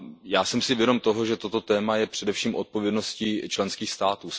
Já jsem si vědom toho, že toto téma je především odpovědností členských států.